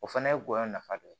O fana ye gɔyɔ nafa dɔ ye